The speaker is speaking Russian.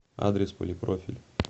адрес полипрофиль